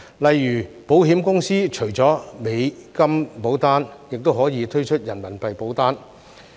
例如保險公司除了美元保單，亦可以推出人民幣保單。